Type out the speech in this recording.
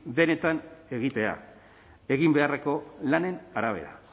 benetan egitea egin beharreko lanen arabera